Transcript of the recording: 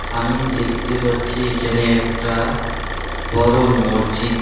আমি দেখতে পাচ্ছি এইখানে একটা বড়ো মরজিদ .